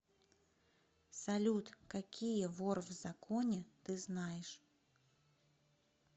салют какие вор в законе ты знаешь